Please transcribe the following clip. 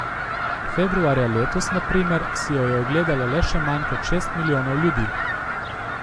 Februarja letos na primer si jo je ogledalo le še manj kot šest milijonov ljudi.